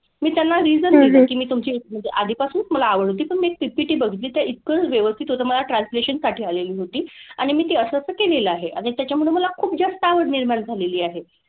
मी त्यांना reason दिलं की मी तुमची म्हणजे आधीपासूनच मला आवड होती पण मी एक PPT बघितली तर इतकं व्यवस्थित होतं मला translation साठी आलेली होती. आणि मी ते असं असं केलेलं आहे आणि त्याच्यामुळे मला खूप जास्त आवड निर्माण झालेली आहे.